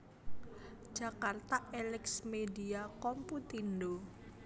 Jakarta Elex Media Komputindo